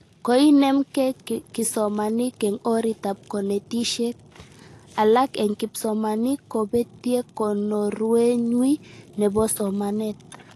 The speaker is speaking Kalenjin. Koinemke kisomanink eng oritab konetishet, alak eng kipsomanink kobetie konorwenywi nebo somanet